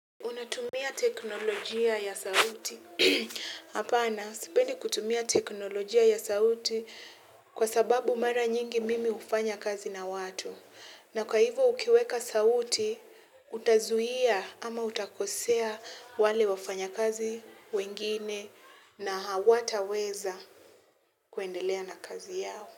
Unatumia teknolojia ya sauti. Hapana, sipendi kutumia teknolojia ya sauti kwa sababu mara nyingi mimi hufanya kazi na watu. Na kwa hivo ukiweka sauti, utazuia ama utakosea wale wafanya kazi wengine na hawataweza kuendelea na kazi yao.